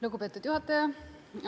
Lugupeetud juhataja!